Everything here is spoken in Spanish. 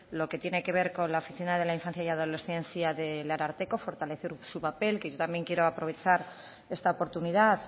lo que tiene que ver con la oficina de la infancia y adolescencia del ararteko fortalecer su papel que yo también quiero aprovechar esta oportunidad